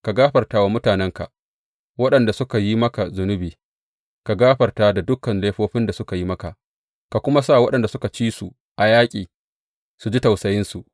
Ka gafarta wa mutanenka, waɗanda suka yi maka zunubi; ka gafarta dukan laifofin da suka yi maka, ka kuma sa waɗanda suka ci su a yaƙi su ji tausayinsu.